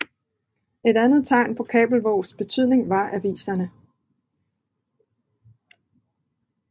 Et andet tegn på Kabelvågs betydning var aviserne